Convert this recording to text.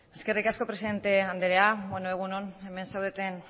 eskerrik asko presidente andrea egun on hemen zaudeten